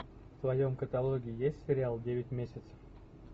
в твоем каталоге есть сериал девять месяцев